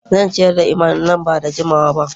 Zan ziyarci Iman nan ba da jimawa ba